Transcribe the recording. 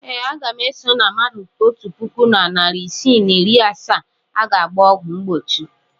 Ee, aga m eso na mmadụ otu puku na narị isii na iri asaa a ga-agba ọgwụ mgbochi.